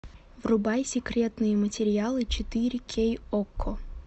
врубай секретные материалы четыре кей окко